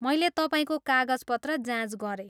मैले तपाईँको कागजपत्र जाँच गरेँ।